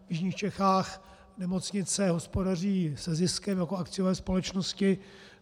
V jižních Čechách nemocnice hospodaří se ziskem jako akciové společnosti.